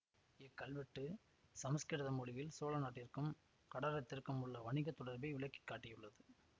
இக் கல்வெட்டு சமசுகிருத மொழியில் சோழ நாட்டிற்கும் கடாரத்திற்கும் உள்ள வணிக தொடர்பை விளக்கி காட்டியுள்ளது